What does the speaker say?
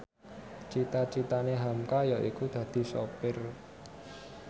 cita citane hamka yaiku dadi sopir